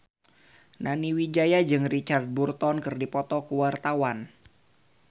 Nani Wijaya jeung Richard Burton keur dipoto ku wartawan